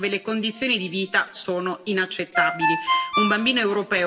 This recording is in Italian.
Un bambino europeo su quattro è a rischio di povertà o esclusione